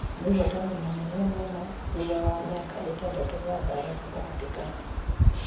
Nĩ ũhotani mũnene mũno thutha wa mĩaka ĩtandatũ ya mbara gatagatĩ kao.